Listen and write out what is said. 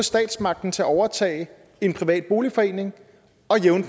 statsmagten til at overtage en privat boligforening og jævne